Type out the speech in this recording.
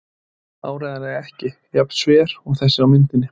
Áreiðanlega ekki jafn sver og þessi á myndinni.